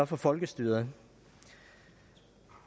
for folkestyret